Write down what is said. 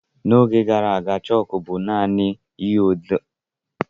N’oge gara aga, chọọkụ bọọdụ bụ naanị ụdị bọọdụ e ji ede ihe n’ụlọ akwụkwọ